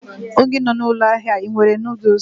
onye nọ na ụlọ ahịa a, ị nwere noodles?